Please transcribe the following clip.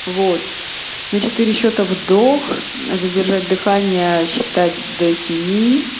вот на четыре счета вдох задержать дыхание считать до семи